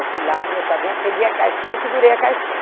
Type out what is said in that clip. Eu fui lá, abri a chavinha, peguei a cartinha e segurei a cartinha.